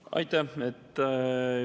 Aitäh!